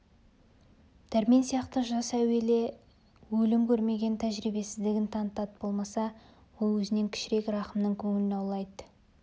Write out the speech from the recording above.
дәрмен сияқты жас әуелі өлім көрмеген тәжірибесіздігін танытады болмаса ол өзінен кішірек рахымның көңілін аулайды үмітін